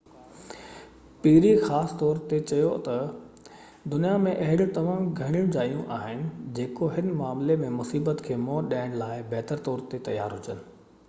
پيري خاص طور تي چيو تہ دنيا ۾ اهڙيون تمام گهٽ جايون آهن جيڪو هن معاملي ۾ مصيبت کي منهن ڏيڻ لاءِ بهتر طور تي تيار هجن